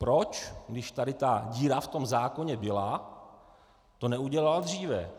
Proč, když tady ta díra v tom zákoně byla, to neudělal dříve?